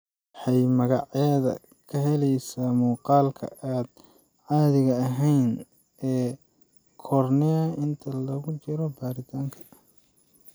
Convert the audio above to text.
Waxay magaceeda ka helaysaa muuqaalka aan caadiga ahayn ee cornea inta lagu jiro baaritaanka isha.